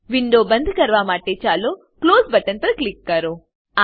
window બંદ કરવા માટે ચાલો ક્લોઝ બટન પર ક્લિક કરો